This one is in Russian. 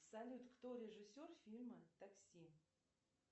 салют кто режиссер фильма такси